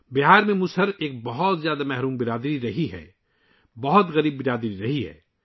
بہار میں، مسہر ایک بہت ہی محروم کمیونٹی رہی ہے، ایک بہت ہی غریب کمیونٹی